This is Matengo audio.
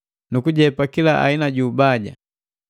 nu kujepa kila aina ubaja.